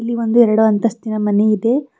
ಇಲ್ಲಿ ಒಂದು ಎರಡು ಅಂತಸ್ತಿನ ಮನೆ ಇದೆ.